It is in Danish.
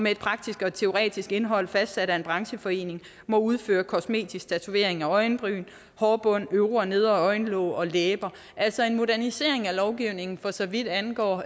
et praktisk og teoretisk indhold fastsat af en brancheforening må udføre kosmetisk tatovering af øjenbryn hårbund øvre og nedre øjenlåg og læber altså en modernisering af lovgivningen for så vidt angår